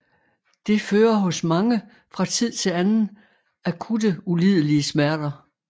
Det fører hos mange fra tid til anden akutte ulidelige smerter